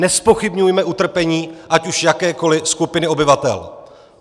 Nezpochybňujme utrpení ať už jakékoli skupiny obyvatel!